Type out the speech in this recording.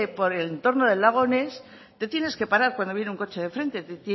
por el entorno del lago ness te tienes que parar cuando viene un coche de frente te